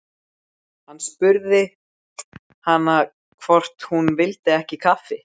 Hann spurði hana hvort hún vildi ekki kaffi.